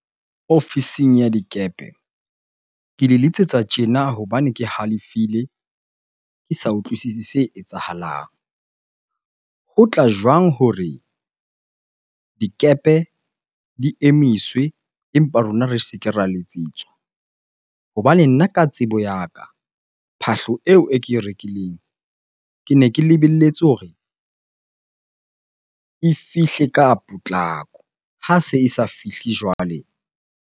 Ofising ya dikepe, ke le letsetsa tjena hobane ke halefile, ke sa utlwisisi se etsahalang. Ho tla jwang hore dikepe di emiswe empa rona re se ke ra letsetswa? Hobane nna ka tsebo ya ka, phahlo eo e ke e rekileng, kene ke lebelletse hore e fihle ka potlako. Ha se e sa fihle jwale.